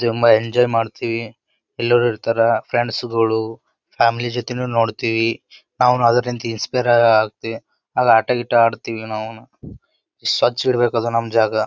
ತುಂಬ ಎಂಜಾಯ್ ಮಾಡ್ತಿವಿ ಎಲ್ಲರು ಇರ್ತರ ಫ್ರೆಂಡ್ಸ್ ಗಳು ಫ್ಯಾಮಿಲಿ ಜೊತೆನೂ ನೋಡ್ತಿವಿ ನಾವುನು ಅದ್ರಂತೆ ಇನ್ಸ್ಪೈರ್ ಆಗಿ ಆಟ ಗೀಟ ಆಡ್ತೀವಿ ನಾವುನು ಸ್ವಚ್ ಇರ್ಬೇಕಾ ನಮ್ ಜಾಗ.